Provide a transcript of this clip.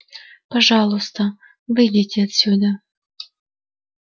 пожалуйста выйдите отсюда